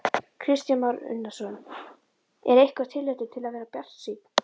Kristján Már Unnarsson: Er eitthvert tilefni til að vera bjartsýnn?